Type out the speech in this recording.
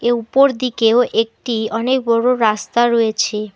উপর দিকেও একটি অনেক বড়ো রাস্তা রয়েছে।